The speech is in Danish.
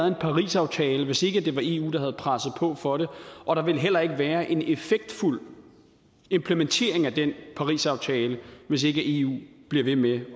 en parisaftale hvis ikke det var eu der havde presset på for det og der ville heller ikke være en effektfuld implementering af den parisaftale hvis ikke eu blev ved med